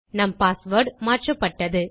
நம் பாஸ்வேர்ட் மாற்றப்பட்டது